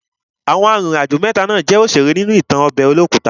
Àwọn arìnrìn àjò jẹ́ òṣèré ní ìtàn ọbẹ̀ olókùta.